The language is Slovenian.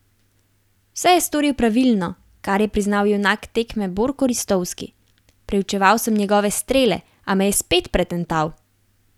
Vse je storil pravilno, kar je priznal junak tekme Borko Ristovski: 'Preučeval sem njegove strele, a me je spet pretental.